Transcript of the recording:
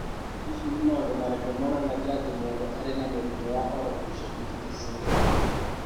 Hihi nĩ maũndũ marĩkũ monanagia atĩ mũndũ arĩ na mũrimũ wa Orofaciodigital syndrome 2?